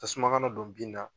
Tasuma kana don bin na